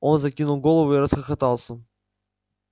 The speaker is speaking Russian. он закинул голову и расхохотался